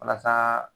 Walasa